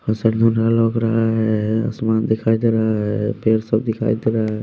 असर रहा है आसमान दिखाई दे रहा है पैर सब दिखाई दे रहा है।